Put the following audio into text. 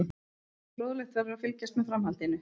Fróðlegt verður að fylgjast með framhaldinu.